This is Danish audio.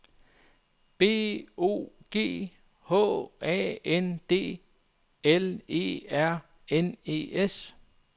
B O G H A N D L E R N E S